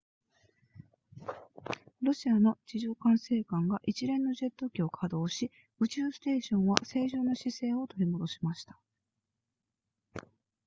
ロシアの地上管制管が一連のジェット機を稼働し宇宙ステーションは正常な姿勢を取り戻しました